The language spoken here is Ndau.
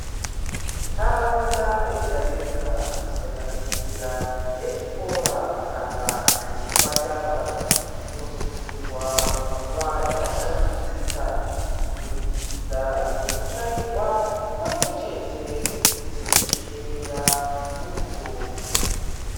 Ntaraunda yega-yega kusanganisira yechikora kana yezvipatara inosungirwa kuva yakashambidzika kubudikudza ngekutsvairwa pamwechete nekuchekerera bundo.